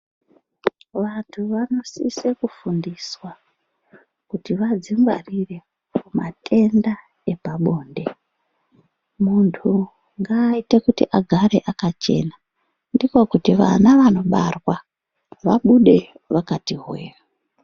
Vantu vanosise kufundiswa kuti vadzingwarire kumatenda epabonde. Muntu ngaaite kuti agare akachena. Ndiko kuti vana vanobarwa vabude vakati hwe-e.